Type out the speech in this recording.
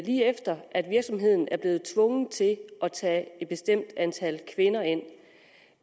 lige efter at virksomheden er blevet tvunget til at tage et bestemt antal kvinder ind